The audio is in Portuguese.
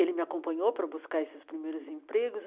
Ele me acompanhou para buscar esses primeiros empregos.